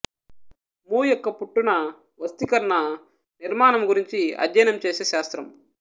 ము యొక్క పుట్టున వస్తికర్న నిర్మనము గురించి అధ్యయనం చేసే శాస్త్రం